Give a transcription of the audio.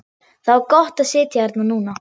Það var gott að sitja hérna núna.